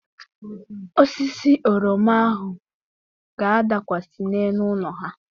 Osisi oroma ahụ ga-adakwasị n'elu ụlọ ha.